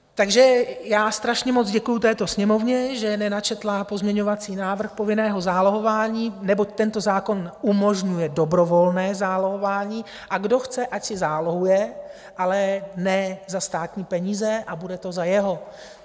Takže já strašně moc děkuji této Sněmovně, že nenačetla pozměňovací návrh povinného zálohování, neboť tento zákon umožňuje dobrovolné zálohování, a kdo chce, ať si zálohuje, ale ne za státní peníze a bude to za jeho.